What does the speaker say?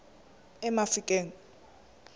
emafikeng